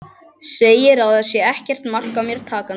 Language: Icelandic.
Segir að það sé ekkert mark á mér takandi.